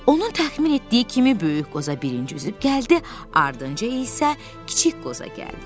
Onun təxmin etdiyi kimi böyük qoza birinci üzüb gəldi, ardınca isə kiçik qoza gəldi.